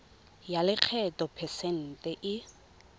ya lekgetho phesente e